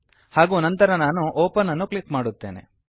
ಹಾಗೂ ನಂತರ ನಾನು ಒಪೆನ್ ಅನ್ನು ಕ್ಲಿಕ್ ಮಾಡುತ್ತೇನೆ